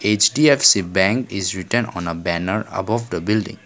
H_D_F_C bank is written on a banner above the building.